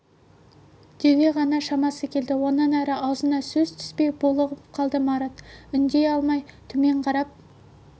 деуге ғана шамасы келді онан әрі аузына сөз түспей булығып қалды марат үндей алмай төмен қарап